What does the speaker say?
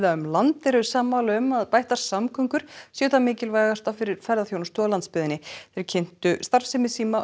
um land eru sammála um að bættar samgöngur séu það mikilvægasta fyrir ferðaþjónustu á landsbyggðinni þeir kynntu starfsemi